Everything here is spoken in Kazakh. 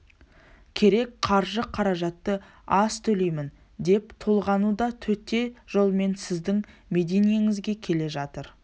керек қаржы-қаражатты аз төлеймін деп толғануда төте жолмен сіздің мединеңізге келе жатыр